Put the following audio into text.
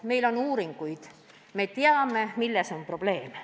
Meil on tehtud uuringuid ja me teame, milles on probleem.